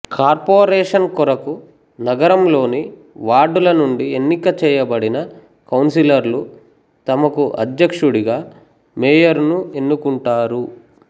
corporation కొరకు నగరంలోని వార్డుల నుండి ఎన్నిక చెయ్యబడిన కౌంసిలర్లు తమకు అధ్యక్షుడుగా మేయరును ఎన్నుకుంటారు